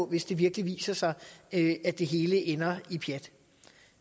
hvis det virkelig viser sig at det hele ender i pjat